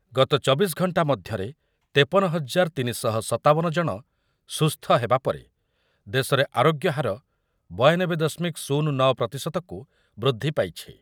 ଗତ ଚବିଶ ଘଣ୍ଟା ମଧ୍ୟରେ ତେପନ ହଜାର ତିନି ଶହ ସତାବନ ଜଣ ସୁସ୍ଥ ହେବାପରେ ଦେଶରେ ଆରୋଗ୍ୟହାର ବୟାନବେ ଦଶମିକ ଶୂନ ନଅ ପ୍ରତିଶତକୁ ବୃଦ୍ଧି ପାଇଛି।